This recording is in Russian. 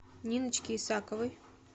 ниночки исаковой